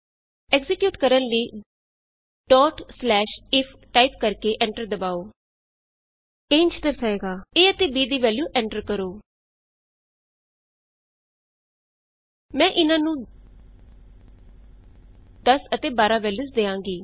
execute ਕਰਨ ਲਈ if type ਕਰਕੇ ਐਂਟਰ ਦਬਾਉ ਇਹ ਇੰਝ ਦਰਸਾਏਗਾ a ਅਤੇ b ਦੀ ਵੈਲਯੂ ਐਂਟਰ ਕਰੋ enter the value of A and B ਮੈਂ ਇਹਨਾਂ ਨੂੰ 10 ਅਤੇ 12 ਵੈਲਯੂਸ ਦਿਆਂਗੀ